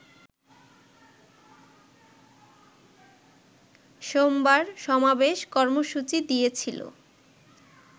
সোমবার সমাবেশের কর্মসূচি দিয়েছিল